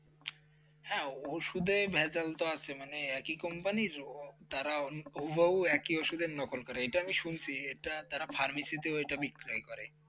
হ্যাঁ ওষুধের ভেজাল তো আছে মানে একই company তাড়া হুবহু একই ওষুধের নকল করে এটা আমি শুনছি এটা তারা pharmacy তো বিক্রয় করে ।